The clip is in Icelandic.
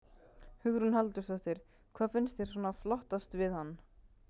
Hugrún Halldórsdóttir: Hvað finnst þér svona flottast við hann?